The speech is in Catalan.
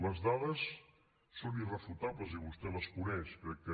les dades són irrefutables i vostè les coneix crec que